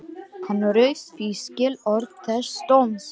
Hann rauf því skilorð þess dóms